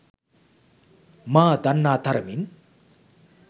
මා දන්නා තරමින්